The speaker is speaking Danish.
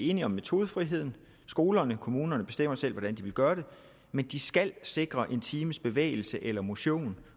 enige om metodefriheden skolerne og kommunerne bestemmer selv hvordan de vil gøre det men de skal sikre at en times bevægelse eller motion